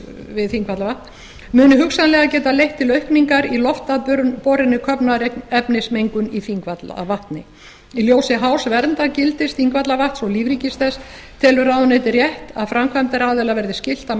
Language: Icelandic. við þingvallavatn muni hugsanlega geta leitt til aukningar í loftaðborinni köfnunarefnismengun í þingvallavatni í ljósi hás verndargildis þingvallavatns og lífríkis þess telur ráðuneytið rétt að framkvæmdaraðila verði skylt að